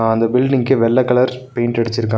அந்த பீல்டிங்க்கு வெள்ள கலர் பெயிண்ட் அடிச்சிருக்காங்க.